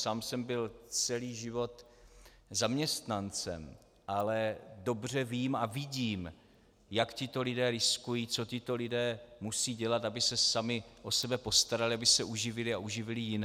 Sám jsem byl celý život zaměstnancem, ale dobře vím a vidím, jak tito lidé riskují, co tito lidé musí dělat, aby se sami o sebe postarali, aby se uživili a uživili jiné.